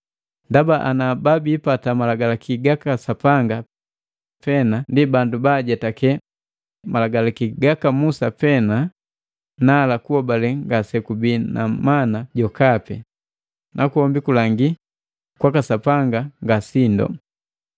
Ndaba ana babiipata Malagi gaka Sapanga pena ndi bandu baajetake malagalaki gaka Musa pena nala kuhobale ngasekubii na mana jokape, nakwombi kulagi kwaka Sapanga nga sindo.